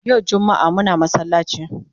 Yau jummaa Muna masallaci